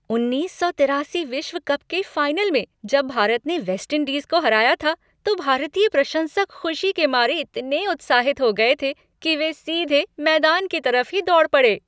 उन्नीस सौ तिरासी विश्व कप के फाइनल में जब भारत ने वेस्टइंडीज़ को हराया था, तो भारतीय प्रशंसक खुशी के मारे इतने उत्साहित हो गए थे कि वे सीधे मैदान की तरफ ही दौड़ पड़े।